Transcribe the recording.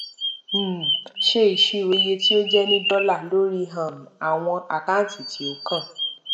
um ṣe isiro iye tí ó jẹ ní dọlà lórí um àwọn àkáǹtì tí ó kàn